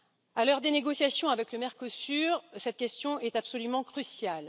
À l'heure des négociations avec le Mercosur, cette question est absolument cruciale.